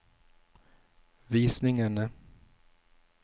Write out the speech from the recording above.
visningene